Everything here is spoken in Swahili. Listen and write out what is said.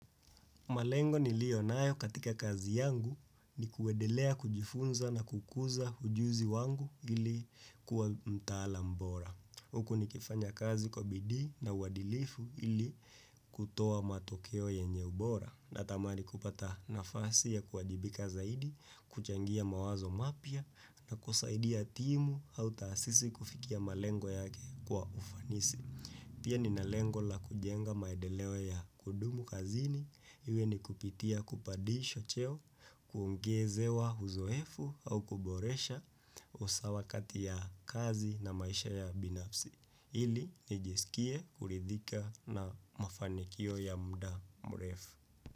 Malengo niliyonayo katika kazi yangu ni kuendelea kujifunza na kukuza ujuzi wangu ili kuwa mtaalam bora. Huku nikifanya kazi kwa bidii na uadilifu ili kutoa matokeo yenye ubora natamani kupata nafasi ya kuwajibika zaidi, kuchangia mawazo mapya na kusaidia timu au taasisi kufikia malengo yake kwa ufanisi. Pia ninalengo la kujenga maendeleo ya kudumu kazini, iwe nikupitia kupandishwa cheo, kuongezewa uzoefu au kuboresha usawa kati ya kazi na maisha ya binafsi. Ili, nijiskie, kuridhika na mafanikio ya muda mrefu.